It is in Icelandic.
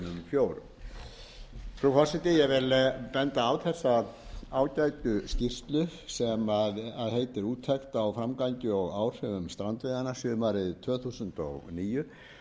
fjórum frú forseti ég vil benda á þessa ágætu skýrslu sem heitir úttekt á framgangi og áhrifum strandveiðanna sumarið tvö þúsund og níu